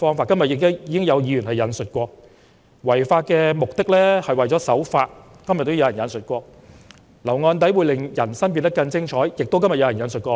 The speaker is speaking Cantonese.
"今天亦有議員引述："違法的目的，是為了守法"，又有人引述："留案底會令人生變得更精彩。